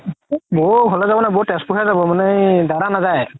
বৌ ঘৰলৈ যাব নাই বৌ তেজপুৰ হে যাব মানে এই দাদা নাজাই